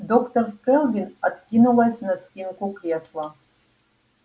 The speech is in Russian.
доктор кэлвин откинулась на спинку кресла